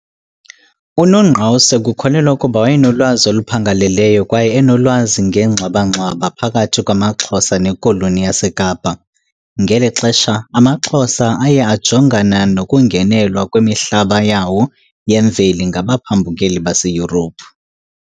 UNongqawuse kukholelwa ukuba wayenolwazi oluphangaleleyo kwaye enolwazi ngengxwabangxwaba phakathi kwamaXhosa neKoloni yaseKapa .. Ngeli xesha, amaXhosa aye ajongana nokungenelwa kwimihlaba yawo yemveli ngabaphambukeli baseYurophu.